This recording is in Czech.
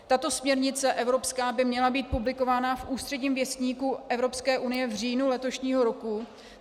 Tato směrnice evropská by měla být publikována v Úředním věstníku Evropské unie v říjnu letošního roku.